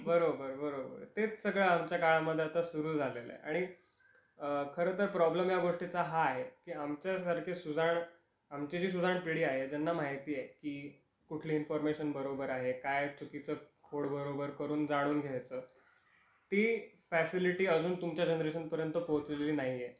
बरोबर बरोबर तेच सगळं आमच्या काळामध्ये आता सुरू झालेल आहे. आणि अ खर तर प्रॉब्लेम या गोष्टीच हा आहे की आमच्या सारखे सुजाण, आमची जी सुजाण पिढी आहे ज्याना माहिती आहे की कुठली इन्फॉरमेशन बरोबर आहे काय चुकीच खोड बरोबर करून जाणून घ्यायचं ती फॅसिलिटी अजून तुमच्या जेनरेशन पर्यंत पोचलेली नाही आहे.